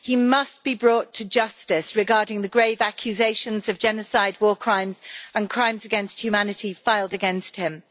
He must be brought to justice regarding the grave accusations of genocide, war crimes and crimes against humanity filed against him.